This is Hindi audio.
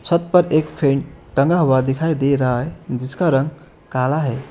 छत पर एक फैन टंगा हुआ दिखाई दे रहा है जिसका रंग काला है।